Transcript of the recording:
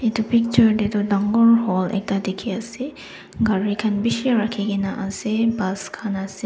etu picture teto dangor hall ekta dekhi ase gari khan bishih rakhi kena ase bus khan.